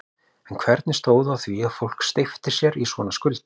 En hvernig stóð á því að fólk steypti sér í svona skuldir?